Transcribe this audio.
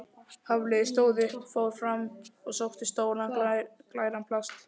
Hafliði stóð upp, fór fram og sótti stóran, glæran plast